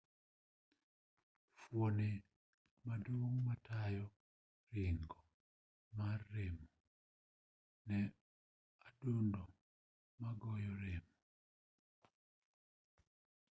fuoni maduong' matayo ringo mar remo en adundo magoyo remo